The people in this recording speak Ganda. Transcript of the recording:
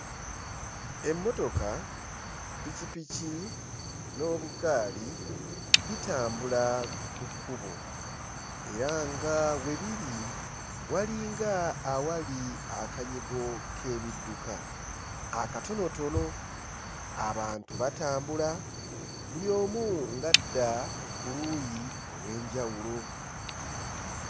Emmotoka, ppikipiki n'obugaali bitambula ku kkubo era nga we biri walinga awali akanyigo k'ebidduka akatonotono. Abantu batambula buli omu ng'adda ku luuyi olw'enjawulo.